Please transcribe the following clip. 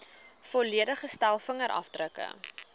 volledige stel vingerafdrukke